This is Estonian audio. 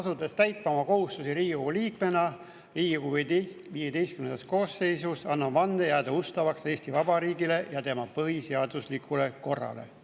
Asudes täitma oma kohustusi Riigikogu liikmena Riigikogu XV koosseisus, annan vande jääda ustavaks Eesti Vabariigile ja tema põhiseaduslikule korrale.